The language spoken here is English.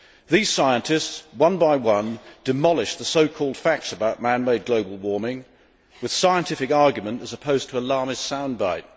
These scientists, one by one, demolished the so called facts about man made global warming, with scientific argument as opposed to alarmist sound bite.